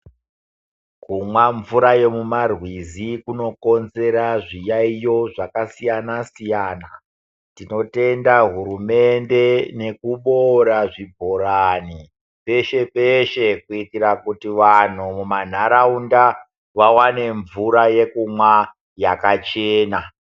Kumwa mvura yemumarwizi kunokonzera zviyaiyo zvakasiyana-siyana, tinotenda hurumende nekuboora zvibhorani peshe-peshe. Kuitira kuti vantu mumandaraunda vavane mvura yekumwa yakachena.